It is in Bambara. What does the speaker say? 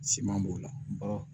Siman b'o la baga